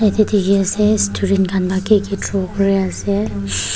yete hi ase students khan ki ki draw kuri ase.